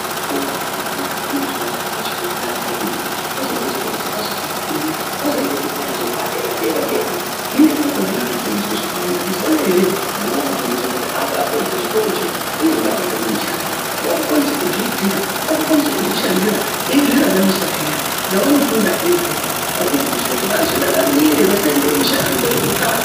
Zvikora zvakawanda, kune zvikora zvepashi kwekutanga kwemene pozoite chikora chepashi chechipiri kozoite chikora chepadera dera dera . Hino ikoko vana vanofundiswe zvakawanda mazuwanaya ere mwana wakufundiswa kuti abapedze chikorocho kunyangwe akatama mushando wakukwanisa kuzviitira, wakukwanisa kuzvishandira eizviraramisa peya zvavanofundazvo izvozvo vaeikufundiswa kuti vazviraramire vasaemere mishando yekutsvaka.